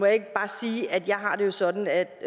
ikke bare sige at jeg jo har det sådan at